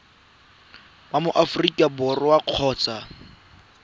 wa mo aforika borwa kgotsa